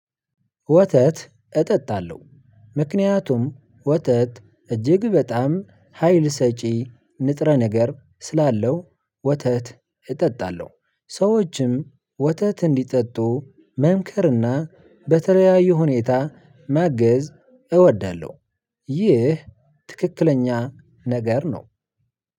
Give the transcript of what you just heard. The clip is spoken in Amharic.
ወተት እጠጣለው ምክንያቱም ወተት እጅግ በጣም ሀይል ሰጪ ንጥረ ነገር ስላለው ወተት እጠጣለሁ ሰዎችም ወተት እንዲጠጡ መምከርና በተለያዩ ሁኔታ ማገዝ እወዳለው። ይህ ትክክለኛ ነገር ነው።